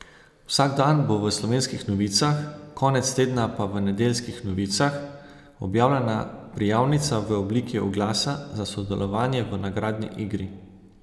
Vsak dan bo v Slovenskih novicah, konec tedna pa v Nedeljskih novicah objavljena prijavnica v obliki oglasa za sodelovanje v nagradni igri.